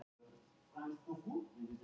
Þessi mörk eru rauð á kortinu.